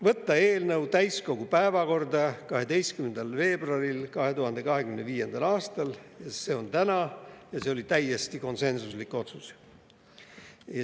Võtta eelnõu täiskogu päevakorda 12. veebruaril 2025. aastal, see on täna, ja see oli täiesti konsensuslik otsus.